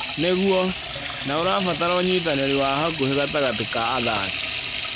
Nĩguo, na ũrabatara ũnyitanĩri wa hakuhĩ gatagatĩ ka athaki.